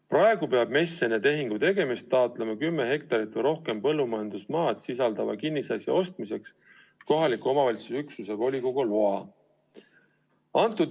Praegu peab MES enne tehingu tegemist taotlema kümmet hektarit või rohkem põllumajandusmaad sisaldava kinnisasja ostmiseks kohaliku omavalitsuse üksuse volikogult loa.